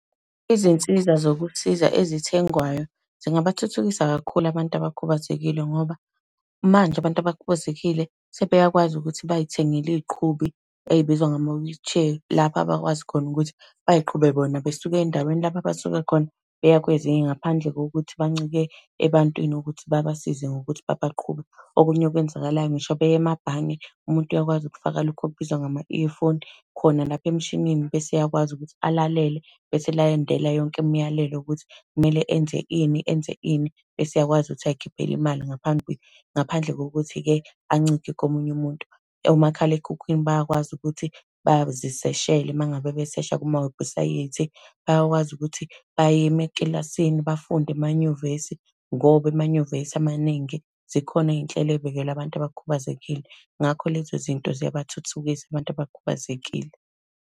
Izinsiza zokuthiza ezithengwayo, zingabathuthukisa kakhulu abantu abakhubazekile, ngoba manje abantu abakhubazekile sebeyakwazi ukuthi bay'thengele y'inqubi ey'bizwa ngama-wheelchair. Lapha abakwazi khona ukuthi bay'qhube bona besuka endaweni lapho abasuka khona beya kwezinye, ngaphandle kokuthi bancike ebantwini ukuthi babasize ngokuthi babaqhube. Okunye okwenzakalayo, ngisho beya emabhange, umuntu uyakwazi ukufaka lokhu okubizwa ngama-earphone khona lapha emshinini bese eyakwazi ukuthi alalele, bese elandela yonke imiyalelo yokuthi kumele enze ini, enze ini. Bese eyakwazi ukuthi ay'khiphela imali, ngaphambi ngaphandle kokuthi-ke ancike komunye umuntu. Omakhalekhukhwini bayakwazi ukuthi baziseshele uma ngabe besesha kumawebhusayithi, bayakwazi ukuthi bayime ekilasini, bafunde emanyuvesi, ngoba emanyuvesi amaningi zikhona iy'nhlelo ey'bekelwe abantu abakhubazekile. Ngakho lezo zinto ziyabathuthukisa abantu abakhubazekile.